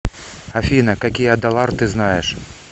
афина какие адалар ты знаешь